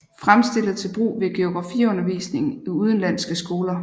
Fremstillet til brug ved geografiundervisningen i udenlandske skoler